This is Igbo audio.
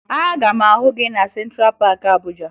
Aga m ahụ gị na Sentra Paakị Abuja